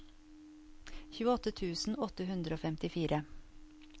tjueåtte tusen åtte hundre og femtifire